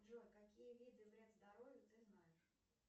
джой какие виды вред здоровью ты знаешь